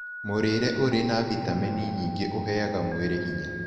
Mũrĩre ũrĩ na vĩtamenĩ nyĩĩngĩ ũheaga mwĩrĩ hinya